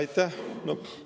Aitäh!